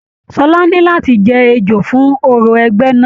Ṣọlá ní láti jẹ ejò fún òrò ẹgbẹ náà.